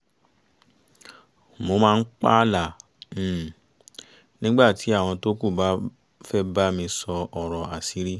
mo máa ń pààlà um nígbà tí àwọn tókù bá fẹ́ bá mi sọ ọ̀rọ̀ àṣírí